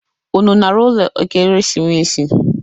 Unu nara ụlọ Ekeresimesi?